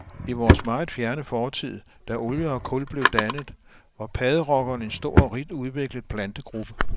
I vores meget fjerne fortid, da olie og kul blev dannet, var padderokkerne en stor og rigt udviklet plantegruppe.